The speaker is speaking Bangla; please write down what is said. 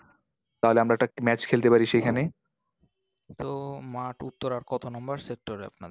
তাহলে আমরা একটা match খেলতে পারি সেখানে। তো মাঠ উত্তরার কত number sector এ আপনাদের?